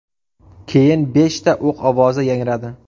Keyin beshta o‘q ovozi yangradi .